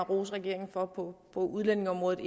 rose regeringen for på udlændingeområdet